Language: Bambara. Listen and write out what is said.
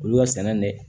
Olu ka sɛnɛ ni